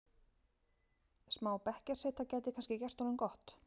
Smá bekkjarseta gæti kannski gert honum gott?